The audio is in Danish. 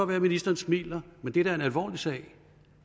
være at ministeren smiler men det er da en alvorlig sag